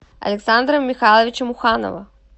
александра михайловича муханова